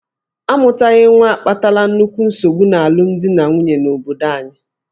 A mụtaghị nwa akpatala nnukwu nsogbu n'alụmdi na nwunye n'obodo anyị.